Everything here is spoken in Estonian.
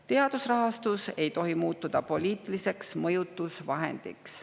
Teadusrahastus ei tohi muutuda poliitiliseks mõjutusvahendiks.